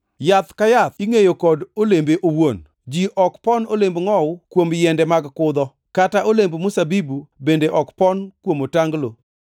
Yath ka yath ingʼeyo kod olembe owuon. Ji ok pon olemb ngʼowu kuom yiende mag kudho, kata olemb mzabibu bende ok pon kuom otanglo.